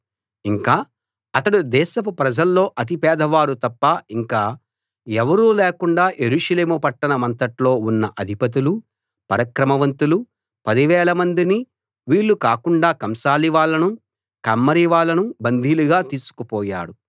ఇంకా అతడు దేశపు ప్రజల్లో అతి పేదవారు తప్ప ఇంక ఎవరూ లేకుండా యెరూషలేము పట్టణమంతట్లో ఉన్న అధిపతులూ పరాక్రమవంతులూ పదివేలమందినీ వీళ్ళు కాకుండా కంసాలివాళ్ళను కమ్మరివాళ్ళను బందీలుగా తీసుకుపోయాడు